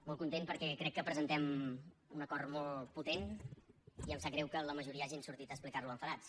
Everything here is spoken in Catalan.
molt content perquè crec que presentem un acord molt potent i em sap greu que la majoria hagin sortit a explicar lo enfadats